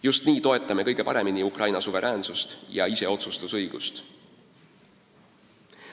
Just nii toetame kõige paremini Ukraina suveräänsust ja iseotsustusõigust.